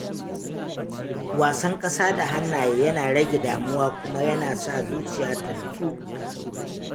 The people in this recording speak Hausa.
wasan ƙasa da hannaye yana rage damuwa kuma yana sa zuciya ta nutsu.